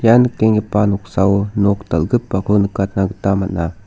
ia nikenggipa noksao nok dal·gipako nikatna gita man·a.